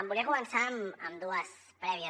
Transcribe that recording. volia començar amb dues prèvies